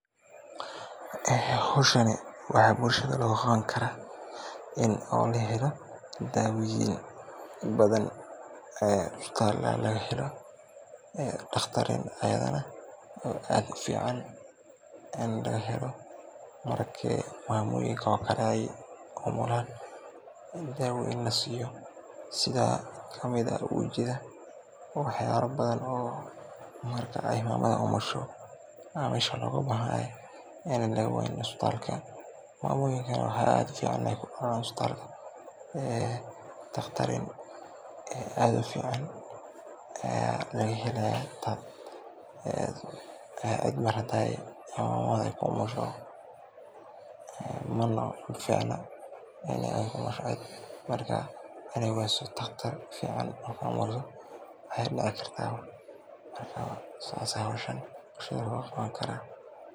Howshan waxaa bulshada looga qabani karaa in la helo daawoyin badan ee isbitaala laga helo daqtariin ayagana oo aad ufican, marki mamoyinka camal aay umulaan dawoyin lasiiyo sida kamid ah ujiida, wax yaaba badan marka mamada umusho isbitaalka laga waynin, mamoyinka waxaa aad ufican inaay ku dalaan isbitaalka daqtarin aad ufican laga helaayo, cid haadaay ku umusho waxaa dici kartaa inaay weyso daqtar fican.